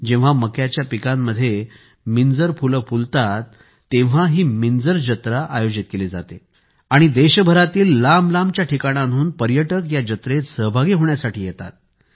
जेव्हा मक्याच्या पिकांमध्ये मिंजर फुले फुलतात तेव्हा ही मिंजर जत्रा आयोजित केली जाते आणि देशभरातील लांबलांबच्या ठिकाणांहून पर्यटक या जत्रेत सहभागी होण्यासाठी येतात